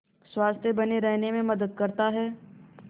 स्वस्थ्य बने रहने में मदद करता है